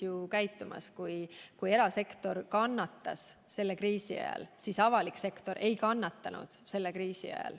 Erasektor kannatas selle kriisi ajal, aga avalik sektor ei kannatanud.